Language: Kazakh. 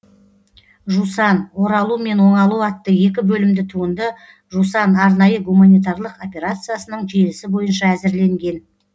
жусан оралу мен оңалу атты екі бөлімді туынды жусан арнайы гуманитарлық операциясының желісі бойынша әзірленген